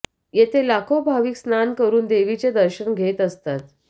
येथे लाखो भाविक स्नान करून देवीचे दर्शन घेत असतात